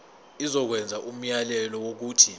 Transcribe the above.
izokwenza umyalelo wokuthi